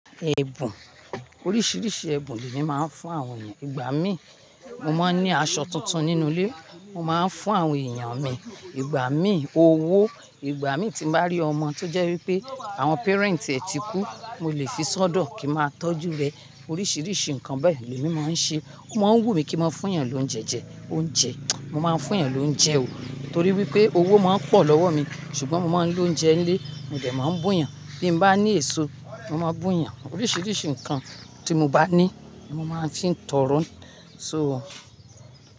Èébùn, oríṣiríṣi èébùn ni emi máa ń fún àwọn èèyàn. Ìgbà mí, mo máa ń ní aṣọ tuntun nínú ilé, mo máa ń fún àwọn èèyàn mi. Ìgbà mí owó, ìgbà mí tí n bá rí ọmọ tó jẹ́ wí pé àwọn parent ẹ ti kú, mo lè fi ṣọ́dọ̀ kí n ma tó tọ́jú rẹ. Oríṣiríṣi nǹkan bẹ́ẹ̀ ni emí máa ń ṣe. O máa ń wù mí kí n mo fún èèyàn lóúnjẹ jẹ, oúnjẹ, mo máa ń fún èèyàn lóúnjẹ o, torí wí pé owó máa ń pọ̀ lọ́wọ́ mi, ṣùgbọ́n mo máa ń lo oúnjẹ ní ilé, mo dè máa ń bù eeyàn. Bí mo bá ní èso, mo máa bù yàn. Oríṣiríṣi nǹkan tí mo bá ní ni mo máa fi ń tọrọ sóo.